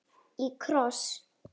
Í kross.